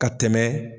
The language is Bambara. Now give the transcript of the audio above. Ka tɛmɛ